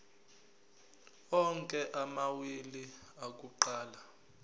onke amawili akuqala